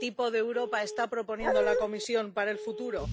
¿Qué tipo de Europa está proponiendo la Comisión para el futuro?